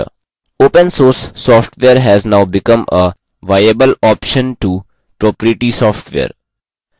open source software has now become a viable option to proprietary software